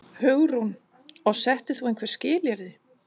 Hugrún: Og settir þú einhver skilyrði?